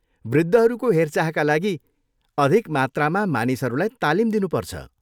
वृद्धहरूको हेरचाहका लागि अधिक मात्रामा मानिसहरूलाई तालिम दिनुपर्छ।